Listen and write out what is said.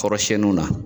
Kɔrɔsiɲɛniw na